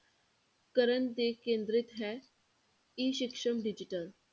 ਕਰਨ ਤੇ ਕੇਂਦਰਿਤ ਹੈ E ਸਕਸਮ digital